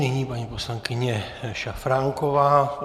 Nyní paní poslankyně Šafránková.